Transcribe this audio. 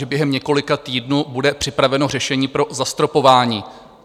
Že během několika týdnů bude připraveno řešení pro zastropování?